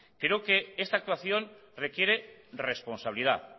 creo que esta actuación requiere responsabilidad